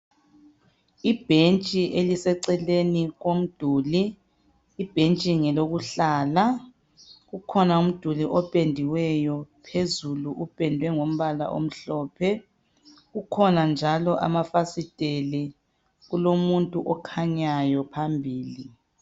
Ibhentshi ilesecele komduli ibhentshi ngelokuhlala kukhona umduli opediweyo phezulu upedwe ngombala omhlophe kukhona njalo amafasiteli kulomuntu okhanyayo njalo phambili.